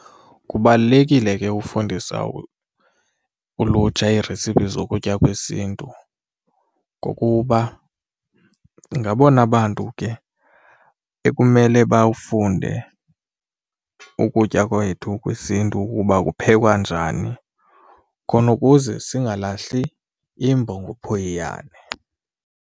Kubalulekile ke ufundisa ulutsha iiresipi zokutya kwesiNtu ngokuba ngabona bantu ke ekumele bawufunde ukutya kwethu kwisiNtu ukuba kuphekwa njani khona ukuze singalahli imbo ngophoyiyana.